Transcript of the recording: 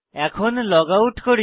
এখন লগআউট করি